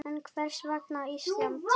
En hvers vegna Ísland?